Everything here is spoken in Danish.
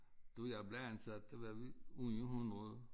Da jeg blev ansat der var vi 800